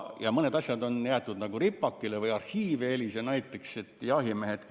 Mõned asjad on jäetud ripakile või EELIS-e arhiivi.